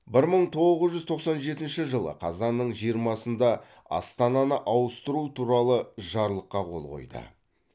бір мың тоғыз жүз тоқсан жетінші жылы қазанның жиырмасында астананы ауыстыру туралы жарлыққа қол қойды